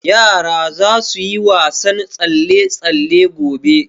Yara za su yi wasan tsalle-tsalle gobe.